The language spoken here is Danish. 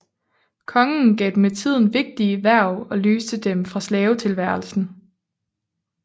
Kongen gav dem med tiden vigtige hverv og løste dem fra slavetilværelsen